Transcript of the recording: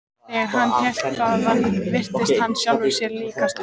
Þegar hann hélt þaðan virtist hann sjálfum sér líkastur.